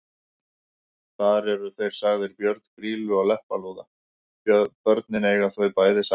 Þar eru þeir sagðir börn Grýlu og Leppalúða: Börnin eiga þau bæði saman